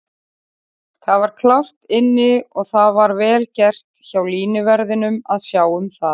Hann var klárt inni og það var vel gert hjá línuverðinum að sjá það.